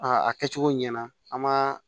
a kɛcogo ɲɛna an m'a